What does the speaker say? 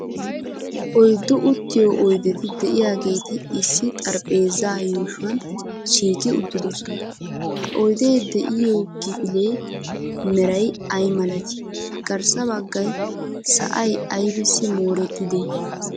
Oyddu uttiyo oydeti de'iyaageeti issi xaraphpheeza yuushuwan shiiqi uttidoosona. Ha oyde de'iyo kifiliya meray ay malati? garssa baggay sa'ay aybbissi mooretide?